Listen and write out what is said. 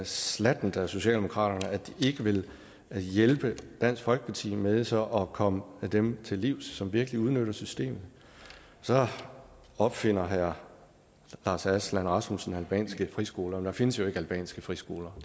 slattent af socialdemokratiet at de ikke vil hjælpe dansk folkeparti med så at komme dem til livs som virkelig udnytter systemet så opfinder herre lars aslan rasmussen albanske friskoler der findes jo ikke albanske friskoler